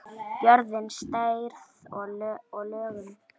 Jörðin, stærð og lögun